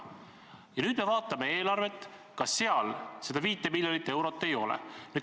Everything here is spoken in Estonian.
Kui me nüüd vaatame eelarvet, siis näeme, et seal ka seda 5 miljonit eurot ei ole.